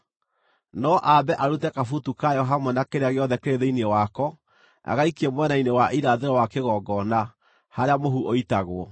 No ambe arute kabutu kayo hamwe na kĩrĩa gĩothe kĩrĩ thĩinĩ wako, agaikie mwena-inĩ wa irathĩro wa kĩgongona, harĩa mũhu ũitagwo.